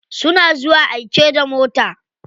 Suna zuwa aike da mota.